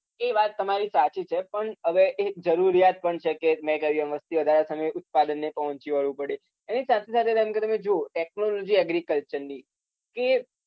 એ વાત તમારી સાચી છે પણ હવે એ એક જરુરીયાત પણ છે કે મેં કહ્યું એમ વસ્તીવધારા સામે ઉત્પાદનને પહોંચી વળવું પડે એની સાથેસાથે એટલે કે તમે જુઓ technology agriculture ની કે